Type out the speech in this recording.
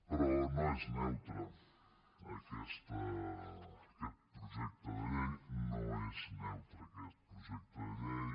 però no és neutre aquest projecte de llei no és neutre aquest projecte de llei